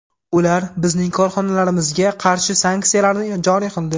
Ular bizning korxonalarimizga qarshi sanksiyalarni joriy qildi.